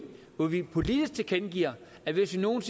hvor vi politisk tilkendegiver at hvis vi nogen